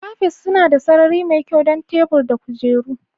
Cafes suna da sarari mai kyau don tebur da kujeru